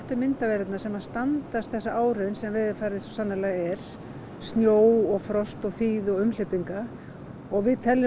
myndavélarnar sem standast þessa áraun sem veðurfarið svo sannarlega er snjó og frost og þýðu og umhleypinga við teljum